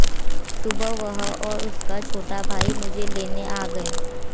सुबह वह और उसका छोटा भाई मुझे लेने आ गए